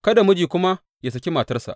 Kada miji kuma yă saki matarsa.